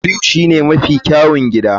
Blue shine mafi kyawun gida.